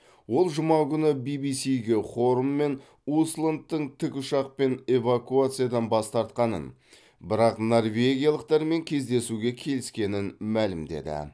ол жұма күні би би сиге хорн мен усландтың тікұшақпен эвакуациядан бас тартқанын бірақ норвегиялықтармен кездесуге келіскенін мәлімдеді